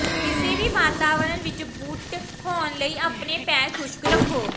ਕਿਸੇ ਵੀ ਵਾਤਾਵਰਣ ਵਿੱਚ ਬੂਟ ਹੋਣ ਲਈ ਆਪਣੇ ਪੈਰ ਖੁਸ਼ਕ ਰੱਖੋ